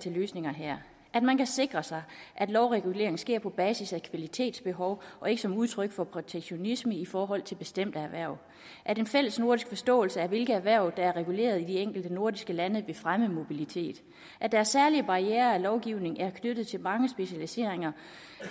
til løsninger her at man kan sikre sig at lovregulering sker på basis af kvalitetsbehov og ikke som udtryk for protektionisme i forhold til bestemte erhverv at en fællesnordisk forståelse for hvilke erhverv der er reguleret i de enkelte nordiske lande vil fremme mobilitet at der er særlige barrierer og lovgivning der er knyttet til mange specialiseringer